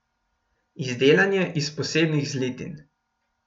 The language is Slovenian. Izdelan je iz posebnih zlitin.